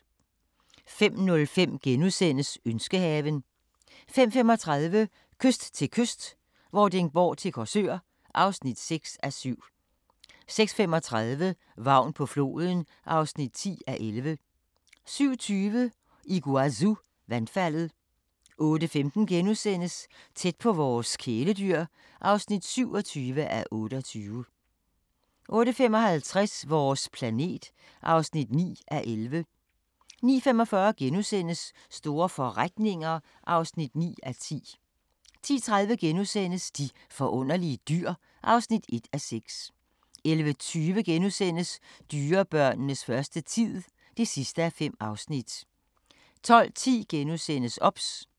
05:05: Ønskehaven (4:7)* 05:35: Kyst til kyst - Vordingborg til Korsør (6:7) 06:35: Vagn på floden (10:11) 07:20: Iguazu-vandfaldet 08:15: Tæt på vores kæledyr (27:28)* 08:55: Vores planet (9:11) 09:45: Store forretninger (9:10)* 10:30: De forunderlige dyr (1:6)* 11:20: Dyrebørnenes første tid (5:5)* 12:10: OBS *